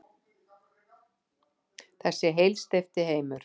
Þessi heilsteypti heimur.